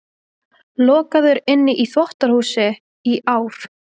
Lokaður inni í þvottahúsi í ár